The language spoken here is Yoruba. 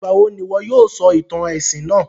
Ìgbàwo n'ìwo yóò sọ ìtàn èsìn náà?